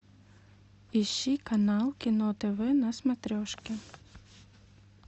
ищи канал кино тв на смотрешке